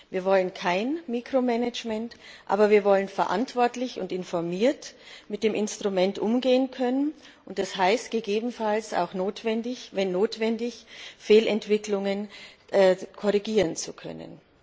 Wir wollen kein Mikromanagement, aber wir wollen verantwortlich und informiert mit dem Instrument umgehen können, um gegebenenfalls auch, wenn notwendig, Fehlentwicklungen korrigieren zu können.